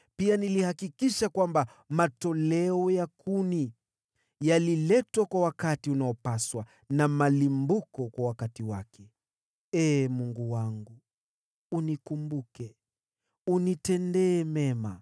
Pia nilihakikisha kwamba matoleo ya kuni yaliletwa kwa wakati unaopaswa, na malimbuko kwa wakati wake. Ee Mungu wangu, unikumbuke, unitendee mema.